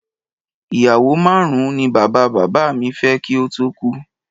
Ìyàwó márùn-ún ni bàbá bàbá mi fẹ́ kí ó tó kú